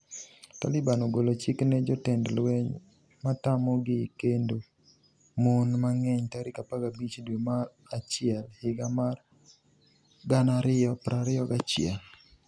Taliban ogolo chik ne jotend lweny matamogi kendo mon mang'eny tarik 15 dwe mar achiel higa mar 2021